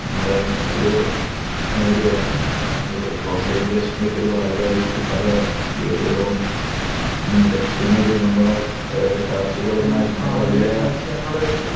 നമ്മുടെ ഒരു ഗ്ലോബലൈസേഷന്റെ ഭാഗമായിട്ട് പല ഏരിയകളും നികത്തുന്നത് കാര്ഷികപരമായിട്ട് നമ്മള്